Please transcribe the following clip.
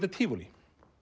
tívolí